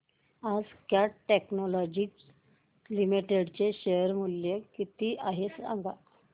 आज Cat technologies limited चे share चे मूल्य किती आहे सांगा